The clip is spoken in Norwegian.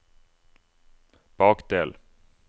bakdel